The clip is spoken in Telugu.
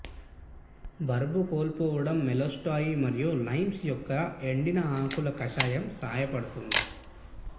బరువు కోల్పోవడం మిస్టేల్టోయ్ మరియు లైమ్స్ యొక్క ఎండిన ఆకులు కషాయం సహాయపడుతుంది